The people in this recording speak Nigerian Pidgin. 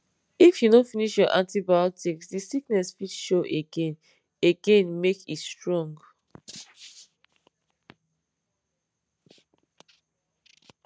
if you no finish your antibiotics the sickness fit show again again make e strong